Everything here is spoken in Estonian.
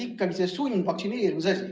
Ikkagi see sundvaktsineerimise asi.